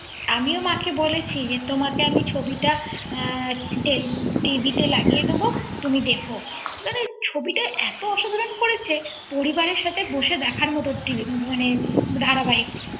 আমিও মাকে বলেছি যে তোমাকে আমি ছবিটা TV তে লাগিয়ে দেবো তুমি দেখো মানে ছবিটা এত অসাধারণ করেছে পরিবারের সাথে বসে দেখার মত মানে ধারাবাহিক